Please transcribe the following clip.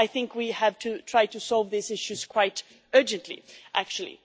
I think we have to try to solve these issues quite urgently actually.